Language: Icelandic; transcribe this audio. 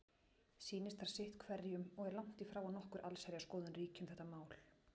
Sýnist þar sitt hverjum og er langtífrá að nokkur allsherjarskoðun ríki um þetta mál.